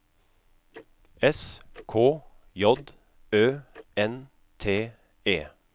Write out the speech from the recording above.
S K J Ø N T E